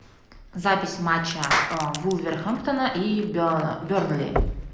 запись матча вулверхэмптона и бернли